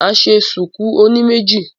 Màá ṣe ṣùkú oní méjì